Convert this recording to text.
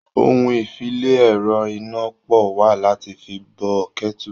Ohun-ìfi-le-ẹ̀rọ-iná-pọ̀ wà láti fi bo kẹ́bù.